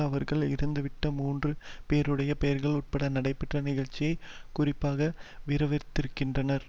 அவர்கள் இறந்துவிட்ட மூன்று பேருடைய பெயர்கள் உட்பட நடைபெற்ற நிகழ்ச்சியை குறிப்பாக விவரித்திருக்கின்றனர்